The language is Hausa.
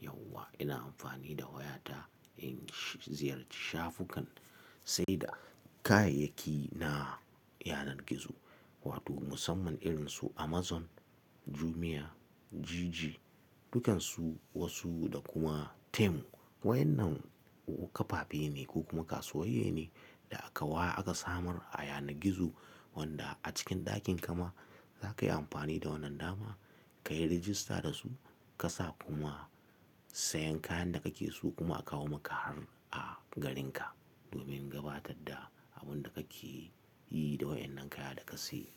Yauwa ina amfani da wayata in ziyarci shafukan sai da kayayyaki na yanar gizo wato musamman irinsu Amazon, Jumia, Jiji dukansu wasu da kuma Temu. Wayannan kafafe ne ko kuma kasuwoyi ne da akawa aka samar a yanar gizo wanda a cikin ɗakin kama za kai amfani da wannan dama ka yi rajista da su ka sa kuma sayan kayan da kake so kuma a kawo maka har a garinka domin gabatar da abun da kake yi da wayen nan kaya da ka siya.